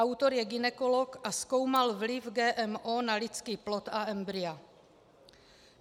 Autor je gynekolog a zkoumal vliv GMO na lidský plod a embrya.